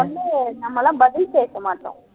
நம்ம எல்லாம் பதில் பேச மாட்டோம்